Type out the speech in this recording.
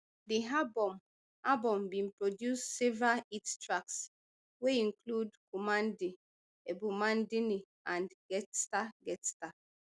di album album bin produce several hit tracks wey include kumnandi ebumnandini and ghetsa ghetsa